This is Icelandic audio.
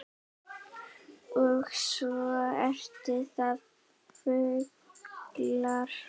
Og svo eru það fuglar